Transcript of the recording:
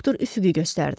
doktor üfüqü göstərdi.